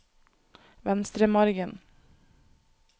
Venstremargen